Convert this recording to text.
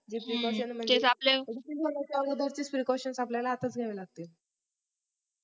तेच precautions म्हणजे DISEASE होण्याच्या अगोदर STRICT precautions आपल्याला आत्ताच घ्याव्या लागती